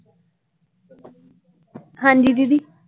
ਹਾਂਜੀ ਦੀਦੀ?